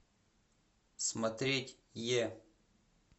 смотреть е